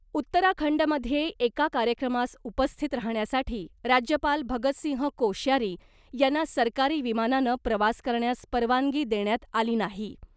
उत्तराखंडमध्ये एका कार्यक्रमास उपस्थित राहण्यासाठी राज्यपाल भगतसिंह कोश्यारी यांना सरकारी विमानानं प्रवास करण्यास परवानगी देण्यात आली नाही .